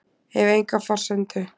Hef enga forsendu.